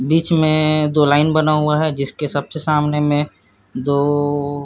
बीच में दो लाइन बना हुआ है जिसके सबसे सामने में दो --